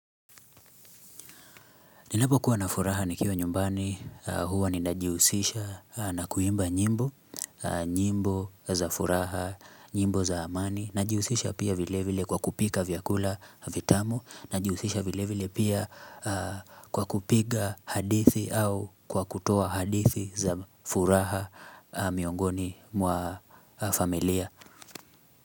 Ninapokuwa na furaha nikiwa nyumbani, huwa ninajihusisha na kuimba nyimbo, nyimbo za furaha, nyimbo za amani, najihusisha pia vile vile kwa kupika vyakula vitamu, najihusisha vile vile pia kwa kupiga hadithi au kwa kutoa hadithi za furaha miongoni mwa familia.